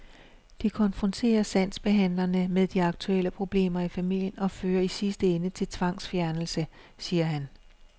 Det konfronterer sagsbehandlerne med de aktuelle problemer i familien og fører i sidste ende til tvangsfjernelse, siger han.